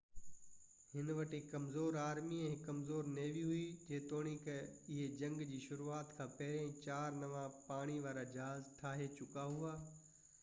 ان وٽ هڪ ڪمزور آرمي ۽ هڪ ڪمزور نيوي هئي جيتوڻيڪ اهي جنگ جي شروعات کان پهريان چار نوان پاڻي وارا جهاز ٺاهي چڪا هئا